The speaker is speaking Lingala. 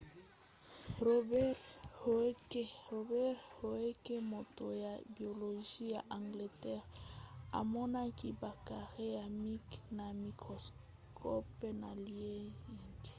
robert hooke moto ya biologie ya angleterre amonaki ba carrés ya mike na microscope na liège